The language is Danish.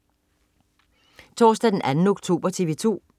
Torsdag den 2. oktober - TV 2: